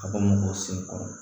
Ka bɔ mɔgɔw sen kɔrɔ